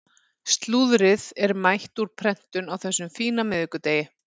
Slúðrið er mætt úr prentun á þessum fína miðvikudegi.